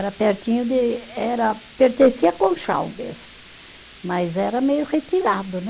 Era pertinho de, era, pertencia a Conchal mesmo, mas era meio retirado, né?